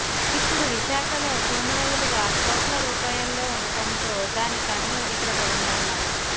ఇప్పుడు విశాఖలో భూముల విలువ కోట్ల రూపాయల్లో ఉండటంతో దాని కన్ను ఇక్కడ పడిందన్నారు